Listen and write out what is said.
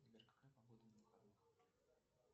сбер какая погода на выходных